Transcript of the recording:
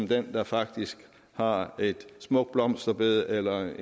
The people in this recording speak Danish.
den der faktisk har et smukt blomsterbed eller